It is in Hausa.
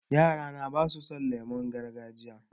Yara na ba su son lemon gargajiya